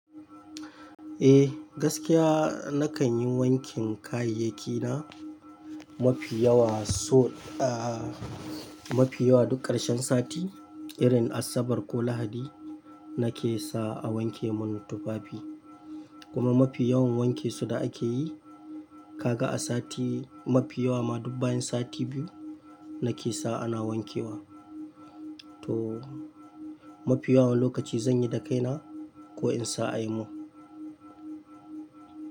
Eh, gaskiya nakanyi wankin kayayyaki na mafi yawa so a-- mafi yawa duk ƙarshen sati, irin Asabar ko Lahadi nake sawa a wanke mun tufafi. Kuma mafi yawan wanke su da ake yi, kaga a sati mafi yawa ma duk bayan sati biyu nake sawa ana wankewa. To mafi yawan lokaci zanyi da kaina ko insa ayi mun.